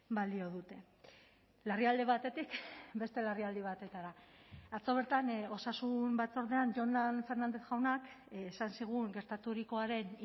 balio dute larrialdi batetik beste larrialdi batetara atzo bertan osasun batzordean jonan fernández jaunak esan zigun gertaturikoaren